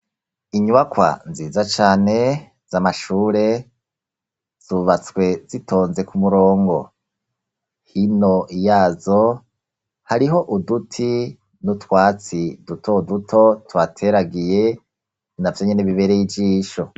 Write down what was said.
Inyubakwa nziza cane, z'amashure zubatswe zitonze ku murongo, hino yazo hariho uduti n'utwatsi duto duto tuhateragiye navyo nyene bibereye ijisho.